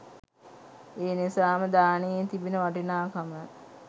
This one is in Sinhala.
එනිසාම දානයේ තිබෙන වටිනාකම